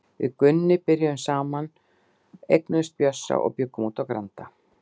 Við Gunni byrjuðum saman, eignuðumst Bjössa og bjuggum úti á Granda.